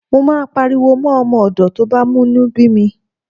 Mo máa pariwo mọ́ ọmọ ọ̀dọ̀ tó bá mú inú bí mi.